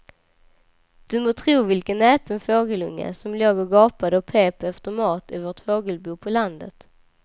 Du må tro vilken näpen fågelunge som låg och gapade och pep efter mat i vårt fågelbo på landet.